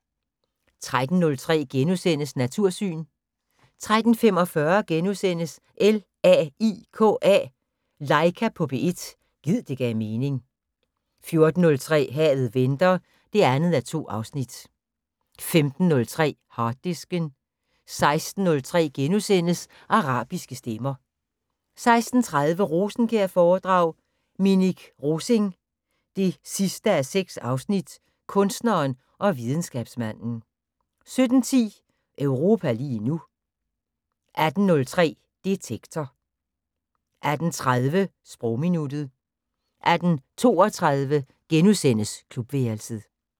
13:03: Natursyn * 13:45: LAIKA på P1 – gid det gav mening * 14:03: Havet venter 2:2 15:03: Harddisken 16:03: Arabiske stemmer * 16:30: Rosenkjær-foredrag: Minik Rosing 6:6 - Kunstneren og videnskabsmanden 17:10: Europa lige nu 18:03: Detektor 18:30: Sprogminuttet 18:32: Klubværelset *